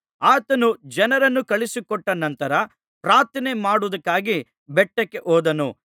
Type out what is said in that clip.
ಆತನು ಜನರನ್ನು ಕಳುಹಿಸಿಕೊಟ್ಟ ನಂತರ ಪ್ರಾರ್ಥನೆ ಮಾಡುವುದಕ್ಕಾಗಿ ಬೆಟ್ಟಕ್ಕೆ ಹೋದನು